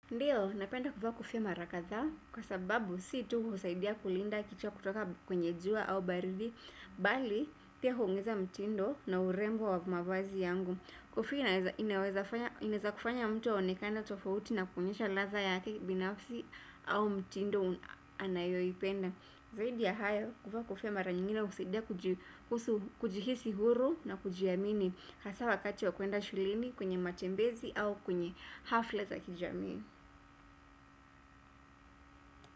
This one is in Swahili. Ndiyo, napenda kuvaa kofia mara kadhaa kwa sababu si tu husaidia kulinda kichwa kutoka kwenye jua au baridi bali, pia huungiza mtindo na urembo wa mavazi yangu. Kofia inaweza kufanya mtu aonekana tofauti na kuonyesha ladha ya kibinafsi au mtindo anayoipenda. Zaidi ya hayo kuvaa kofia mara nyingine husaidia kujiruhusu kujihisi huru na kujiamini hasa wakati wa kwenda shuleni kwenye matembezi au kwenye hafla za kijamii.